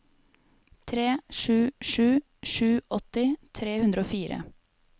tre sju sju sju åtti tre hundre og fire